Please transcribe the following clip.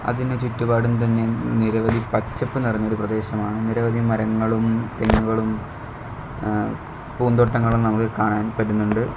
അതിന് ചുറ്റുപാടും തന്നെ നിരവധി പച്ചപ്പ് നിറഞ്ഞ ഒരു പ്രദേശമാണ് നിരവധി മരങ്ങളും തെങ്ങുകളും അഹ് പൂന്തോട്ടങ്ങളും നമുക്ക് കാണാൻ പറ്റുന്നുണ്ട്.